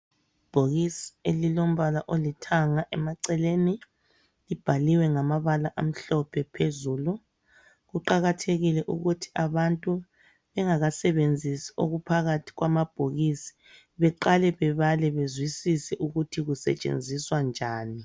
Ibhokisi elilombala olithanga emaceleni libhaliwe ngamabala amhlophe phezulu. Kuqakathekile ukuthi abantu bengakasebenzisi okuphakathi kwamabhokisi beqale bebale bezwisise ukuthi kusetshenziswa njani.